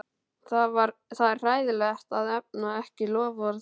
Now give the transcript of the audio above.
Og það er hræðilegt að efna ekki loforð.